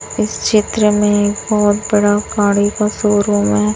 इस चित्र मे एक बहोत बड़ा गाड़ी का शोरूम है।